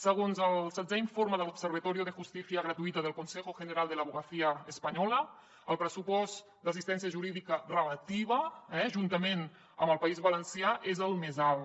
segons el setzè informe de l’observatorio de justicia gratuita del consejo general de la abogacía española el pressupost d’assistència jurídica relativa juntament amb el país valencià és el més alt